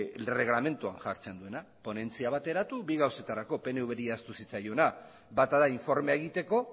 erreglamentuan jartzen duena ponentzia bateratu bi gauzetarako pnvri ahaztu zitzaiona bata da informea egiteko